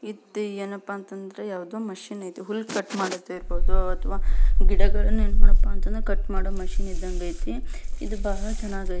ಇತ್ ಏನಪ್ಪಾ ಅಂತಂದ್ರ ಯಾವುದೊ ಮಷೀನ್ ಐತಿ ಹುಲ್ಲು ಕಟ್ಮಾಡೋದ್ ಇರಬಹುದು ಗಿಡಗಳನ್ನ ಏನ್ಮಾಡಪ್ಪ ಅಂತಂದ್ರ ಕಟ್ ಮಾಡೋ ಮಷೀನ್ ಇದ್ದಂಗ ಐತಿ ಇದು ಬಹಳ ಚೆನ್ನಾಗೈತಿ.